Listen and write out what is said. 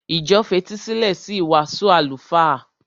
Ìjọ fetísílẹ̀ sí ìwàásù àlùfáà.